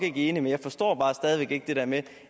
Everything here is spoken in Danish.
enige men jeg forstår bare stadig væk ikke det der med